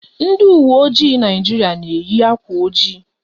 Ndị uwe ojii Naịjirịa na-eyi akwa ojii.